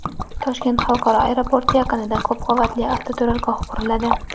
Toshkent xalqaro aeroporti yaqinida ko‘p qavatli avtoturargoh quriladi.